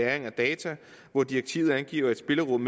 af data hvor direktivet angiver et spillerum